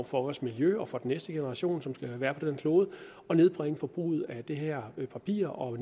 for vores miljø og næste generation som skal være på den her klode og nedbringe forbruget af det her papir og